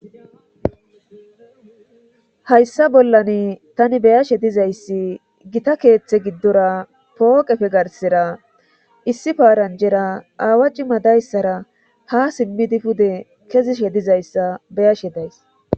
Hayssa bollan tani beyashe dizayssi gita keeththe giddora pooqefe garsera issi paaranjera aawa cimadayssara ha simmidi pude kezishe dizayssa beyashe days.